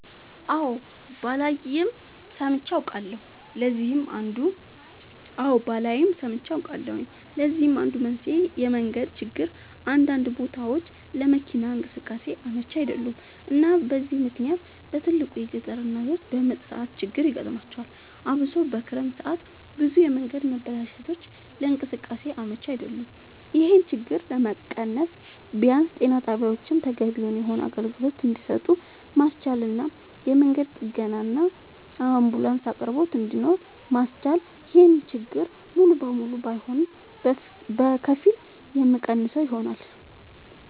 አወ ባላይም ሰምቼ አውቃለሁኝ ለዚህም አንዱ መንስኤ የመንገድ ችግር አንዳንድ ቦታወች ለመኪና እንቅስቃሴ አመች አይደሉም እና በዚህ ምክንያት በትልቁ የገጠር እናቶች በምጥ ሰዓት ችግር ይገጥማቸዋል አብሶ በክረምት ሰዓት ብዙ የመንገድ መበላሸቶች ለእንቅስቃሴ አመች አይደሉም ይሄን ችግር ለመቀነስ ቢያንስ ጤና ጣቢያወችን ተገቢውን የሆነ አገልግሎት እንድሰጡ ማስቻልና የመንገድ ጥገናና የአንቡላንስ አቅርቦት እንድኖር ማስቻል ይሄን ችግር ሙሉ ለሙሉ ባይሆንም በከፊል የሚቀንሰው ይሆናል